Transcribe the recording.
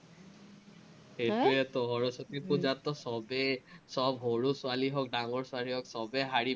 সৰস্বতী পুজাততো চবেই চব সৰু ছোৱালী হক, ডাঙৰ ছোৱালী হক, চবেই শাড়ী